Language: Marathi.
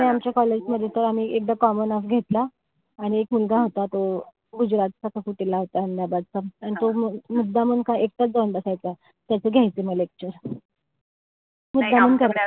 नाई आमच्या college मध्ये तर आम्ही एकदा common-off घेतला. आणि एक मुलगा होता तो गुजरात चा का अहेमदाबादचा. अन तो मुद्दामून का एकटाच जाऊन बसायचा. त्याचे घ्यायचे म lecture. मुद्दामून,